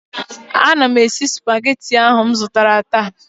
Ana m esi Supagetii m zụtara taa